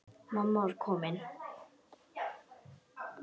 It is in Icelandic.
Mamma var komin.